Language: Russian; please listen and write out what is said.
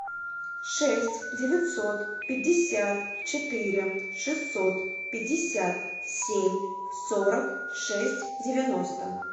шесть девятьсот пятьдесят четыре шестьсот пятьдесят семь сорок шесть девяносто